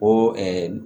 O